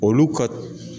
Olu ka